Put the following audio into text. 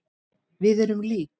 Við erum lík.